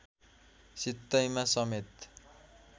सित्तैमा समेत